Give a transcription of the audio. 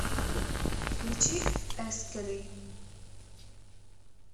включи эскери